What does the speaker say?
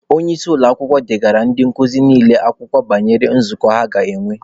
Onye isi ụlọakwụkwọ degaara ndị nkuzi niile akwụkwọ banyere nzukọ ha ga-enwe.